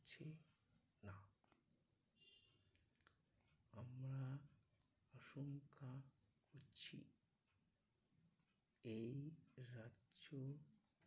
এই যে, না আমরা আশঙ্কা আছি, এই রাজ্য